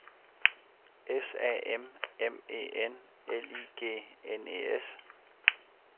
S A M M E N L I G N E S